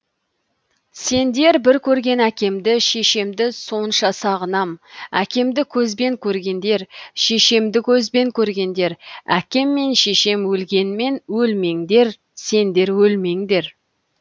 сендер бір көрген әкемді шешемді сонша сағынам әкемді көзбен көргендер шешемді көзбен көргендер әкем мен шешем өлгенмен өлмеңдер сендер өлмеңдер